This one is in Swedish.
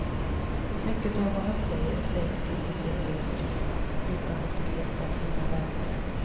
Mycket av vad han säger är säkert inte seriöst menat utan ett spel för att vinna väljare.